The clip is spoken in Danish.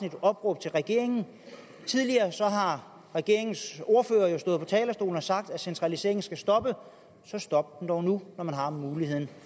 et opråb til regeringen for tidligere har regeringens ordførere jo stået på talerstolen og sagt at centraliseringen skal stoppe så stop den dog nu når man har muligheden